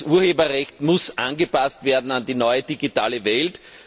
Das Urheberrecht muss angepasst werden an die neue digitale Welt.